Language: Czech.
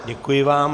Děkuji vám.